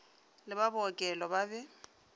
le ba bookelo ba be